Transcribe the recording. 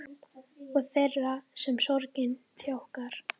Og þeirra sem sorgin þjakar.